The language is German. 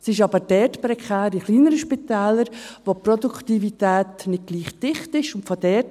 Es ist aber in kleineren Spitälern prekär, wo die Produktivität nicht gleich dicht ist.